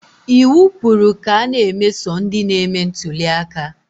Iwu kwuru ka a na-emeso ndị na-eme ntuliaka